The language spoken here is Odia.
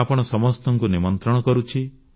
ମୁଁ ଆପଣ ସମସ୍ତଙ୍କୁ ନିମନ୍ତ୍ରିତ କରୁଛି